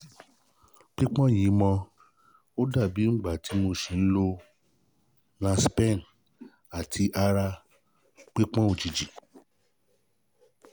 pípọ́n yìí mọ́ ó dàbí ìgbà tí mo ṣì ń lo niaspan àti ara pípọ́n òjijì